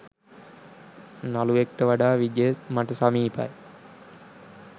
නළුවෙක්ට වඩා විජය මට සමීපයි.